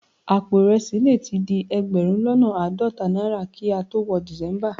Àpò ìrẹsì le tí di ẹgbẹ̀rún lọ́nà àádọ́ta náírà kí a tó wọ December